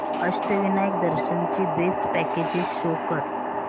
अष्टविनायक दर्शन ची best packages show कर